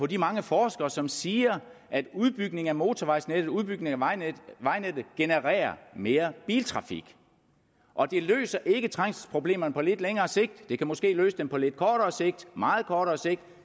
de mange forskere som siger at udbygning af motorvejsnettet og udbygning af vejnettet genererer mere biltrafik og det løser ikke trængselsproblemerne på lidt længere sigt det kan måske løse dem på lidt kortere sigt meget kort sigt